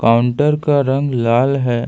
Counter का रंग लाल है।